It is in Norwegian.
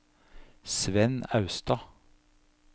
Svend Austad